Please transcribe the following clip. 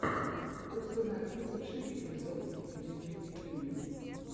установи лучший эпизод дидюли дидюли